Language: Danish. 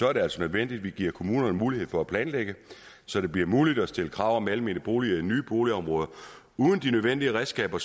er det altså nødvendigt at vi giver kommunerne mulighed for at planlægge så det bliver muligt at stille krav om almene boliger i nye boligområder uden de nødvendige redskaber